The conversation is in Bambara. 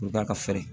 U bɛ taa ka fɛrɛ